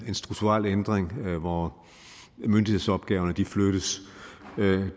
strukturel ændring hvor myndighedsopgaverne flyttes